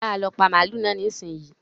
Yára lọ pa màlúù náà nísìnyìí.